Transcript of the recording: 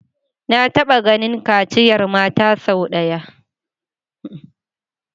Na taba ganin kaciyar mata sau daya